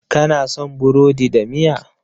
Kana son burodi da miya?